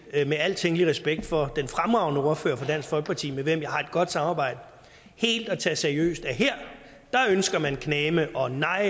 med al tænkelig respekt for den fremragende ordfører for dansk folkeparti med hvem jeg har et godt samarbejde helt at tage seriøst at her ønsker man knageme og nej